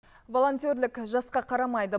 волонтерлік жасқа қарамайды